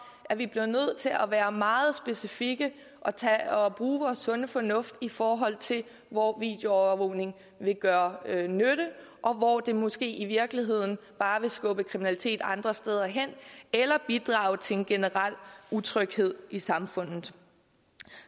at vi bliver nødt til at være meget specifikke og bruge vores sunde fornuft i forhold til hvor videoovervågning vil gøre nytte og hvor det måske i virkeligheden bare vil skubbe kriminaliteten andre steder hen eller bidrage til en generel utryghed i samfundet